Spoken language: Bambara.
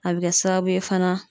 A bi kɛ sababu ye fana